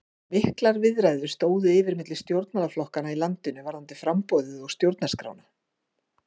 Miklar viðræður stóðu yfir milli stjórnmálaflokkanna í landinu varðandi framboðið og stjórnarskrána.